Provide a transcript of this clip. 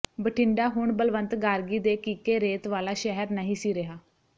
ਬਠਿੰਡਾ ਹੁਣ ਬਲਵੰਤ ਗਾਰਗੀ ਦੇ ਕੀਕੇ ਰੇਤ ਵਾਲਾ ਸ਼ਹਿਰ ਨਹੀਂ ਸੀ ਰਿਹਾ